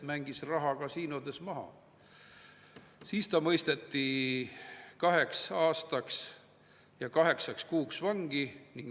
Nad jäävad vahele, nad jäid vahele juba üheksakümnendate keskel, auesimees oli 10 miljoni dollari kadumise eest 1999. aastani kohtu all, aga nagu lutsukala libises välja.